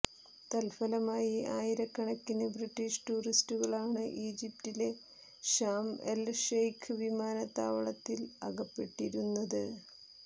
തൽഫലമായി ആയിരക്കണക്കിന് ബ്രിട്ടീഷ് ടൂറിസ്റ്റുകളാണ് ഈജിപ്തിലെ ഷാം എൽ ഷെയ്ഖ് വിമാനത്താവളത്തിൽ അകപ്പെട്ടിരുന്നത്